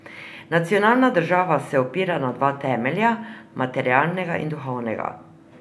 Nacionalna država se opira na dva temelja, materialnega in duhovnega.